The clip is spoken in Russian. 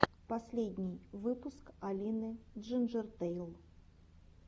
последний выпуск алины джинджертэйл